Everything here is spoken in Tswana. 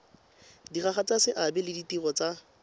diragatsa seabe le ditiro tsa